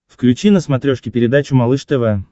включи на смотрешке передачу малыш тв